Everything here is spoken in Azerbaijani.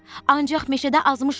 Ancaq meşədə azmışam.